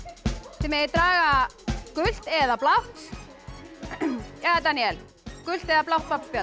þið megið draga gult eða blátt jæja Daníel gult eða blátt babbspjald